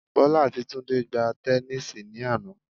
Bọ́lá àti Túndé gbá tẹnísíì ní àná